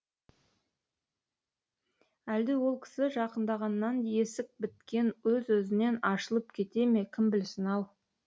әлде ол кісі жақындағаннан есік біткен өз өзінен ашылып кете ме кім білсін ау